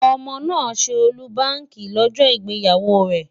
Ọmọ náà ṣe ọ́lúbaàkì lọ́jọ́ ìgbéyàwó rẹ̀.